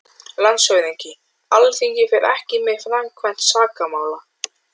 LANDSHÖFÐINGI: Alþingi fer ekki með framkvæmd sakamála.